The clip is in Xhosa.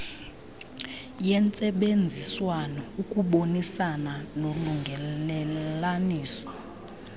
yentsebenziswano ukubonisana nolungelelaniso